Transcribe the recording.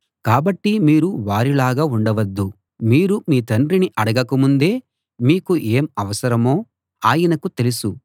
కాబట్టి మీరు వారిలాగా ఉండొద్దు మీరు మీ తండ్రిని అడగక ముందే మీకు ఏం అవసరమో ఆయనకు తెలుసు